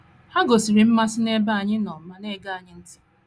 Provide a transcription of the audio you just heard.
Ha gosịrị mmasị n’ebe anyị nọ ma na - ege anyị ntị.